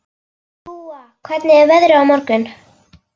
Gúa, hvernig er veðrið á morgun?